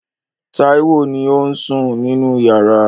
Táíwò ni ó ń sùn nínú yàrá.